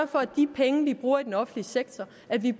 for at de penge vi bruger i den offentlige sektor